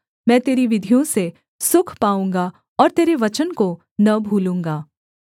मैं तेरी विधियों से सुख पाऊँगा और तेरे वचन को न भूलूँगा